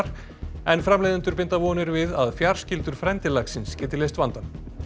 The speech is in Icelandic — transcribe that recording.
en framleiðendur binda vonir við að fjarskyldur frændi laxins geti leyst vandann